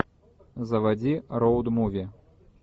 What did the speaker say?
заводи роуд муви